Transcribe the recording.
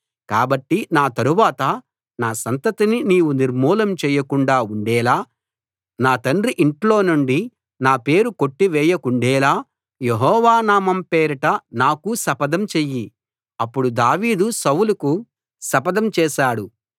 కాబట్టి నా తరువాత నా సంతతిని నీవు నిర్మూలం చేయకుండా ఉండేలా నా తండ్రి ఇంట్లోనుండి నా పేరు కొట్టివేయకుండేలా యెహోవా నామం పేరిట నాకు శపథం చెయ్యి అప్పుడు దావీదు సౌలుకు శపథం చేశాడు